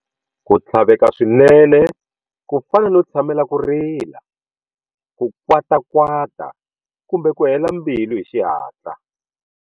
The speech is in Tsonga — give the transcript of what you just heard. Ku tlhaveka swinene, ku fana no tshamela ku rila, ku kwatakwata kumbe ku hela mbilu hi xihatla.